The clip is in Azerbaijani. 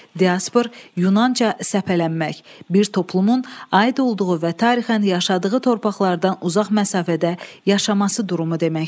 Diaspor yunanca səpələnmək, bir toplumun aid olduğu və tarixən yaşadığı torpaqlardan uzaq məsafədə yaşaması durumu deməkdir.